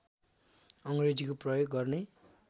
अङ्ग्रेजीको प्रयोग गर्ने